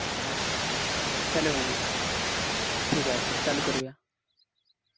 Hello Hemant ठीक आहे तर चालू करूया.